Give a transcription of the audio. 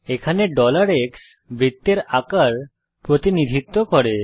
এখানে x বৃত্তের আকার প্রতিনিধিত্ব করে